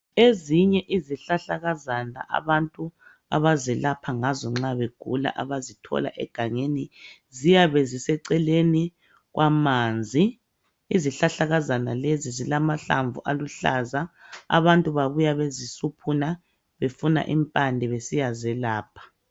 Ezinye izihlahlakazana abantu abazelapha ngazo nxa begula, abazithola egangeni ziyabe ziseceleni kwamanzi. Izihlahlakazana lezi zilamahlamvu aluhlaza. Abantu babuya bezisuphuna befuna impande besiyazelapha .